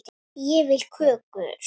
Ég vil kökur.